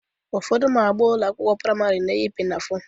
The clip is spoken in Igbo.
Ụfọdụ ụmụ agbọghọ ụlọ akwụkwọ praịmarị na-eyi pinafore